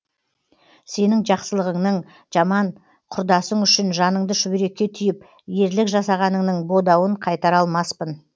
сенің жақсылығыңның жаман құрдасың үшін жаныңды шүберекке түйіп ерлік жасағаныңның бодауын қайтара алмаспын